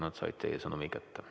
Nad said teie sõnumi kätte.